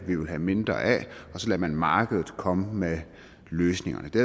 ville have mindre af og så lod man markedet komme med løsningerne det